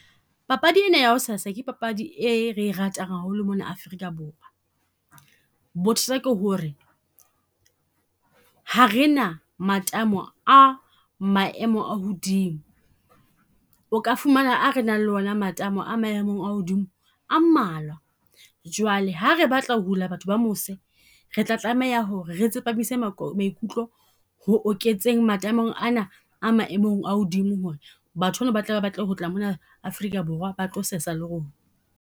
Papadi ena ya hao sesa, ke papadi e re e ratang haholo mona Afrika Borwa. Bothata ke ho re ha re na matamo a maemo a hodimo. O ka fumana a re nang le ona matamo a maemo a hodimo a mmalwa. Jwale ha re batla ho hula batho ba mose, re tla tlameha ho re re tsepamise maikutlo ho oketseng matamong ana a maemong a hodimo. Ho re batho ba na ba tlabe ba batle ho tloha mona Afrika Borwa ba tlo sesa le rona.